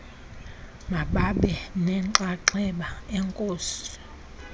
mababe nenxaxheba enkosi